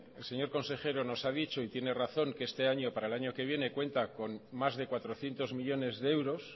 el señor consejero nos ha dicho y tiene razón que este año para el año que viene cuenta con más de cuatrocientos millónes de euros